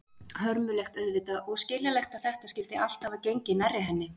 Hörmulegt auðvitað, og skiljanlegt að þetta skyldi allt hafa gengið nærri henni.